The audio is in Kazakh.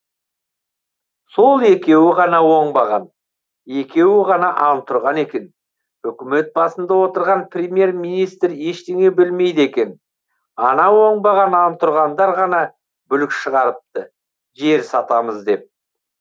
сол екеуі ғана оңбаған екеуі ғана антұрған екен үкімет басында отырған премьер министр ештеңе білмейді екен ана оңбаған антұрғандар ғана бүлік шығарыпты жер сатамыз деп